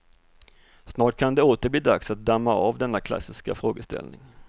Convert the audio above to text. Snart kan det åter bli dags att damma av denna klassiska frågeställning.